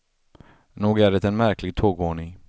Nog är det en märklig tågordning.